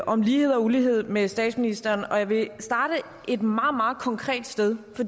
om lighed og ulighed med statsministeren og jeg vil starte et meget meget konkret sted